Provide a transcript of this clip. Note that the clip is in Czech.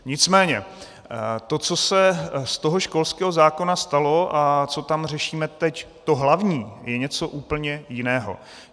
Nicméně to, co se z toho školského zákona stalo a co tam řešíme teď, to hlavní je něco úplně jiného.